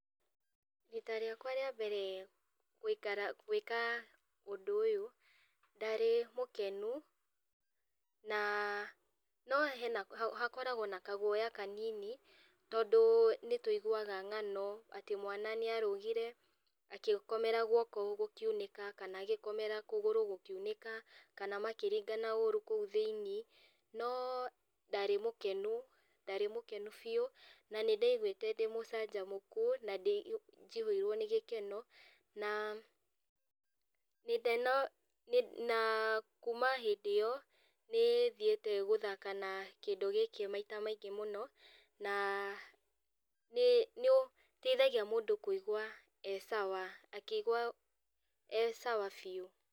Ihinda rĩakwa rĩa mbere gũikara gwĩka ũndũ ũyũ, ndarĩ mũkenu, na no hena hakoragwo na kaguoya kanini, tondũ nĩtũiguaga ng'ano, atĩ mwana nĩarũgire agĩkomera guoko gũkiunĩka, kana agĩkomera kũgũrũ gũkiunĩka, kana makĩringana ũru kũu thiinĩ, no ndarĩ mũkenu, ndarĩ mũkenu biũ, na nĩndaiguĩte ndĩ mũcanjamũki, na ndĩ njihũirwo ni gĩkeno, na gĩkeno na kuma hĩndĩ ĩyo, nĩ thiĩte gũthaka na kĩndũ gĩkĩ maita maingĩ mũno, na nĩ nĩũteithagia mũndũ kũigwa e sawa akĩgwa e sawa biũ.